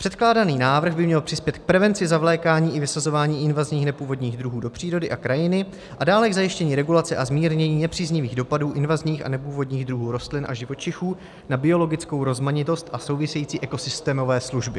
Předkládaný návrh by měl přispět k prevenci zavlékání i vysazování invazních nepůvodních druhů do přírody a krajiny a dále k zajištění regulace a zmírnění nepříznivých dopadů invazních a nepůvodních druhů rostlin a živočichů na biologickou rozmanitost a související ekosystémové služby.